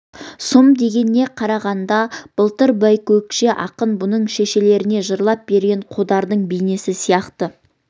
сұм дегеніне қарағанда да былтыр байкөкше ақын бұның шешелеріне жырлап берген қодардың бейнесі сияқты